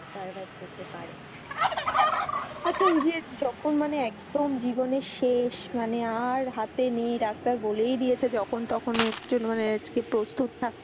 Survive করতে পারে আচ্ছা ওই যে যখন মানে একদম মানে জীবনের শেষ মানে আর হাতে নেই ডাক্তার বলেই দিয়েছে যখন তখন আর জন্য যে আজকে প্রস্তুত থাকতে,